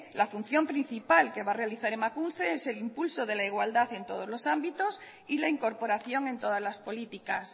la función principal que va a realizar emakunde es el impulso de la igualdad en todos los ámbitos y la incorporación en todas las políticas